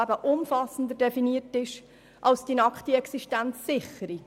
Diese ist umfassender definiert als die nackte Existenzsicherung.